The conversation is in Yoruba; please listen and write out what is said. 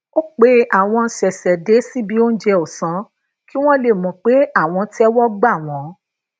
ó pe awon sesede sibi ounje òsán kí wón lè mò pé àwọn téwó gbà wón